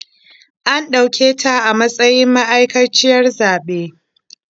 An ɗauketa a matsayin ma'aikaciyar zaɓe.